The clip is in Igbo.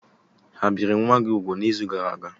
Ha biri nwa gị úgwù n'izu gara aga?